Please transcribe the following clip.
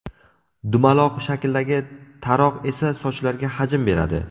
Dumaloq shakldagi taroq esa sochlarga hajm beradi.